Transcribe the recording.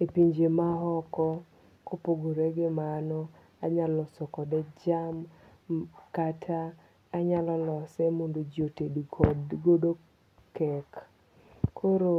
e pinje maoko, kopogore gi mano anyalo silo kode jam kata anyalo lose mondo ji otedgodo cake, koro